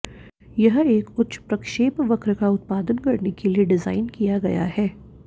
यह एक उच्च प्रक्षेपवक्र का उत्पादन करने के लिए डिज़ाइन किया गया है